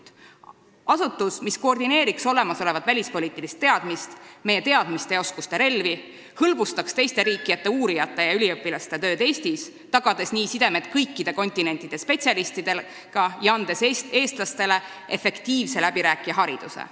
See oleks asutus, mis koordineeriks olemasolevat välispoliitilist teadmist, meie teadmiste ja oskuste relvi, hõlbustaks teiste riikide uurijate ja üliõpilaste tööd Eestis, tagades nii sidemed kõikide kontinentide spetsialistidega ja andes eestlastele efektiivse läbirääkija hariduse.